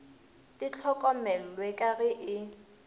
di hlokomellwe ka ge e